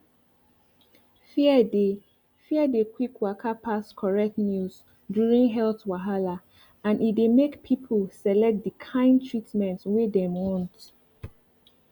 fear dey fear dey quick waka pass correct news during health wahala and e dey make pipo select di kain treatment wey dem want